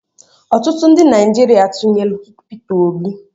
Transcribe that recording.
Ọtụtụ ndị Naijiria tụnyelụ Pita Obi.